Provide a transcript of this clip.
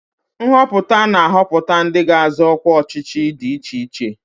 Nhọpụta na-ahọpụta ndị ga-azọ ọkwa ọchịchị dị iche iche.